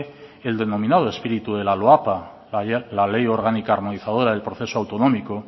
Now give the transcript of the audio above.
el denominado espíritu de la loapa la ley orgánica armonizadora del proceso autonómico